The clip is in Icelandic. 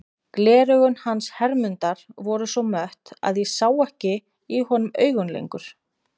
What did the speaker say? Gleraugun hans Hermundar voru svo mött að ég sá ekki í honum augun lengur.